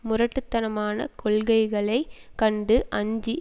முரட்டு தனமான கொள்கைகளை கண்டு அஞ்சி